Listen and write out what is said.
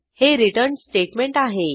हे return statement आहे